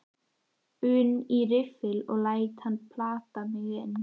un í riffil og læt hann plata mig inn.